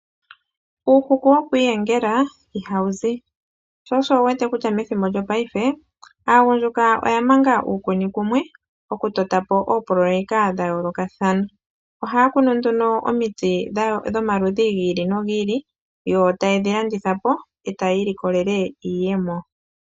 Uuku woku iyengela ihawu zi. Sho osho wu wete kutya methimbo lyopaife aagundjuka oya manga uukuni kumwe oku to ta po oopoloweka dha yoolokathana . Oha kunu nduno omiti dhomaludhi gi ili nogi ili . Yo taye dhi landitha po , yo taye ilikolele iiyemo.